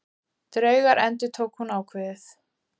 Draugar endurtók hún ákveðið.